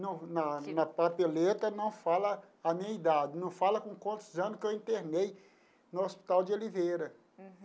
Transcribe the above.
no na na papeleta não fala a minha idade, não fala com quantos anos que eu internei no Hospital de Oliveira. Uhum.